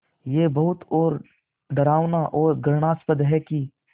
ये बहुत डरावना और घृणास्पद है कि